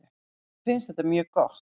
Mér finnst þetta mjög gott.